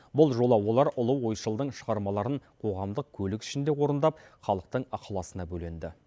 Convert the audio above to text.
бұл жолы олар ұлы ойшылдың шығармаларын қоғамдық көлік ішінде орындап халықтың ықыласына бөленді